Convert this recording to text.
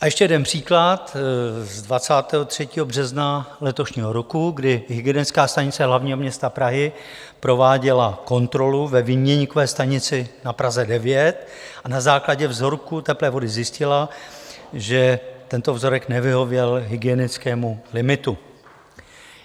A ještě jeden příklad z 23. března letošního roku, kdy Hygienická stanice hlavního města Prahy prováděla kontrolu ve výměníkové stanici na Praze 9 a na základě vzorku teplé vody zjistila, že tento vzorek nevyhověl hygienickému limitu.